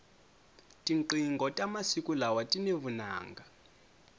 tinqingho ta masiku lawa tini vunanga